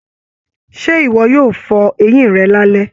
Ṣe iwọ yóò fọ eyin rẹ̀ lalẹ?